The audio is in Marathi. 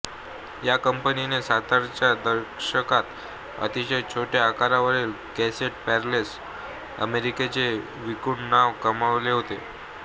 या कंपनीने सत्तरच्या दशकात अतिशय छोट्या आकारातील कॅसेट प्लेयर्स अमेरिकेते विकून नाव कमावले होते